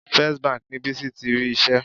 First Bank ni Bísí ti rí iṣẹ́.